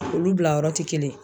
Olu bila yɔrɔ tɛ kelen ye.